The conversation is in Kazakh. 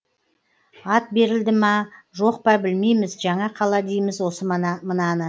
ат берілді ма жоқ па білмейміз жаңа қала дейміз осы мынаны